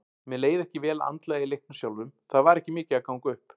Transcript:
Mér leið ekki vel andlega í leiknum sjálfum, það var ekki mikið að ganga upp.